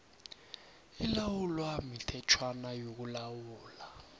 ilawulwa mithetjhwana yokulawula